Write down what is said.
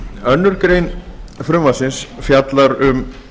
önnur grein frumvarpsins fjallar um